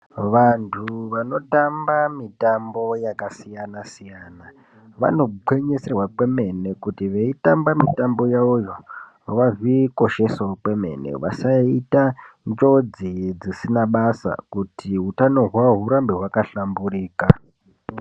Vantu vanotamba mitambo yakasiyana-siyana, vanogwinyisirwa kwemene kuti veitamba mitambo yavoyo ,vazvikoshesewo kwemene, vasaita njodzi dzisina basa, kuti utano hwavo hurambe hwakahlamburika.